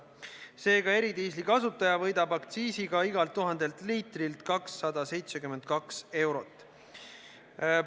Seega, eridiisli kasutaja võidab aktsiisiga igalt 1000 liitrilt 272 eurot.